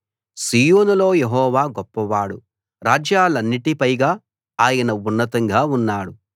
సీయోనులో యెహోవా గొప్పవాడు రాజ్యాలన్నిటి పైగా ఆయన ఉన్నతంగా ఉన్నాడు